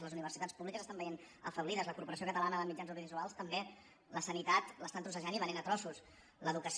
les universitats públiques s’estan veient afeblides la corporació catalana de mitjans audiovisuals també la sanitat l’estan trossejant i venent a trossos l’educació